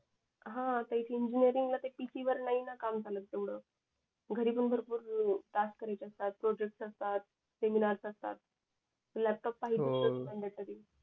हा इंजिनीरिंगला ते PC वर काम नाही न काम चालत ना तेवढ घरी पण भरपूर टास्क करत असतात प्रोजेक्ट असतात, सेमिनार असतात लॅपटॉप पाहिजेच मँडेटरी